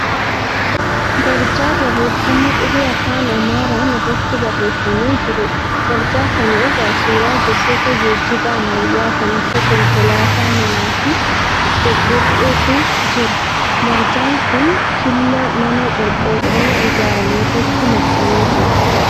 Barjaa barreeffama qubee afaan Amaaraan irratti barreeffamee jiruudha. Barjaa kana irra suuraa gosoota geejjibaa ammayyaa kan akka konkolaataa manaa fi dhoqodhoqqeetu jira. Barjaan kun killaa mana qorqorroon ijaarame irratti maxxanee jira.